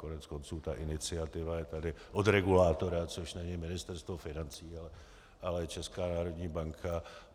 Koneckonců ta iniciativa je tady od regulátora, což není Ministerstvo financí, ale Česká národní banka.